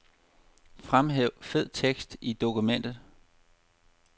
Fremhæv fed tekst i dokument.